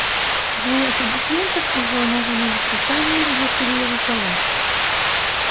буря аплодисментов и взволнованные восклицания заглушили его слова